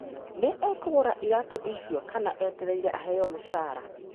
Nĩ ekũgũra iratũ icio, kana etereire aheo mũcara?